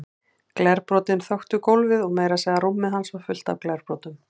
Glerbrotin þöktu gólfið og meira að segja rúmið hans var fullt af glerbrotum.